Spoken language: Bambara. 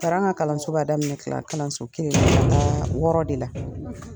Taara an ka kalanso b'a daminɛ kla kalanso kelen ka na waa wɔɔrɔ de la.